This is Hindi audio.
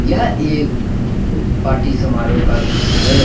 यह एक पार्टी समारोह का दृश्य है।